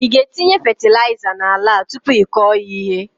Ị ga etinye fetịlaịza na ala a tupu ị kọọ ya ihe?